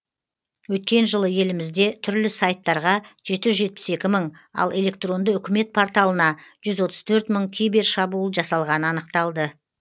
өткен жылы елімізде түрлі сайттарға жеті жүз жетпіс екі мың ал электронды үкімет порталына жүз отыз төрт мың кибершабуыл жасалғаны анықталды